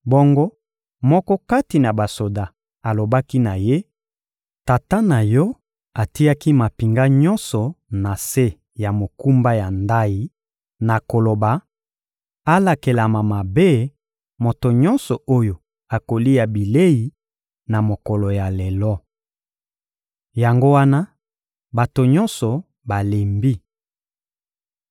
Bongo moko kati na basoda alobaki na ye: — Tata na yo atiaki mampinga nyonso na se ya mokumba ya ndayi na koloba: «Alakelama mabe, moto nyonso oyo akolia bilei na mokolo ya lelo.» Yango wana bato nyonso balembi.